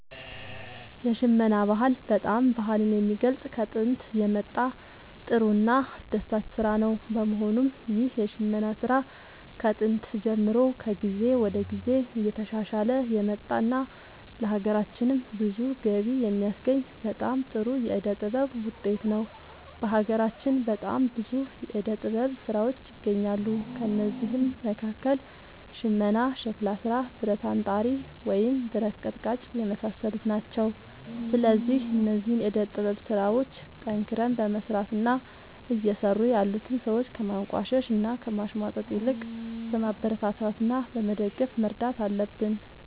የሽመና ጥበብ በጣም ባህልን የሚገልፅ ከጦንት የመጣ ጥሩ እና አስደሳች ስራ ነው በመሆኑም ይህ የሽመና ስራ ከጥንት ጀምሮ ከጊዜ ወደ ጊዜ እየተሻሻለ የመጣ እና ለሀገራችንም ብዙ ገቢ የሚያስገኝ በጣም ጥሩ የዕደ ጥበብ ውጤት ነው። በሀገራችን በጣም ብዙ የዕደ ጥበብ ስራዎች ይገኛሉ ከእነዚህም መካከል ሽመና ሸክላ ስራ ብረት አንጣሪ ወይም ብረት ቀጥቃጭ የመሳሰሉት ናቸው። ስለዚህ እነዚህን የዕደ ጥበብ ስራዎች ጠንክረን በመስራት እና እየሰሩ ያሉትን ሰዎች ከማንቋሸሽ እና ከማሽሟጠጥ ይልቅ በማበረታታት እና በመደገፍ መርዳት አለብን